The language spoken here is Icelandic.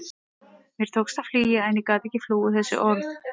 Mér tókst að flýja en ég gat ekki flúið þessi orð.